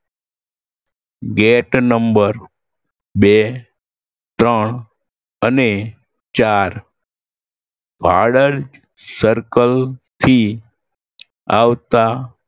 gate number બે, ત્રણ અને ચાર વાડજ circle થી આવતા